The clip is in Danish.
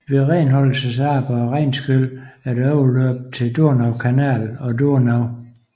Ved renholdelsesarbejder og regnskyl er der overløb til Donaukanal og Donau